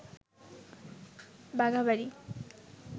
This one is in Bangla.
বাঘাবাড়ি